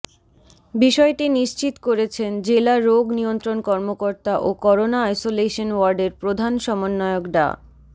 বিষয়টি নিশ্চিত করেছেন জেলা রোগ নিয়ন্ত্রণ কর্মকর্তা ও করোনা আইসোলেশন ওয়ার্ডের প্রধান সমন্বয়ক ডা